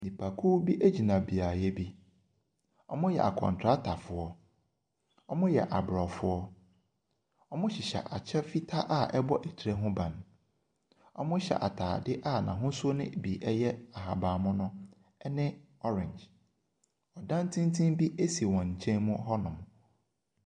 Nnipakuo bi gyina beaeɛ bi. Wɔyɛ akɔntratafoɔ. Wɔyɛ Aborɔfo. Wɔhyehyɛ kyɛ fitaa a ɛbɔ tire ho ban. Wɔhyɛ atadeɛ a n'ahosuo no bi ya ahabammono ne orange. Ɔdan tenten bi si wɔn nkyɛn mu hɔnom.